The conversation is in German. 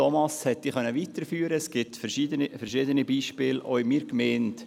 Es gibt auch in meiner Gemeinde verschiedene Beispiele.